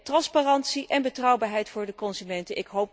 Transparantie en betrouwbaarheid voor de consumenten